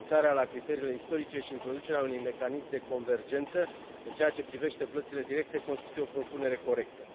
Renunțarea la criteriile istorice și introducerea unui mecanism de convergență în ceea ce privește plățile directe constituie o propunere corectă.